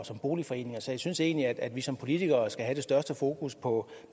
som boligforening så jeg synes egentlig at vi som politikere skal have det største fokus på